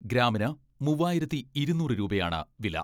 ഗ്രാമിന് മുവ്വായിരത്തി ഇരുന്നൂറ് രൂപയാണ് വില.